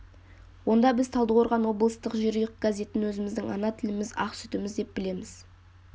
онда біз талдықорған облыстық жерұйық газетін өзіміздің ана тіліміз ақ сүтіміз деп білеміз